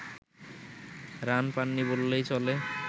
run পাননি বললেই চলে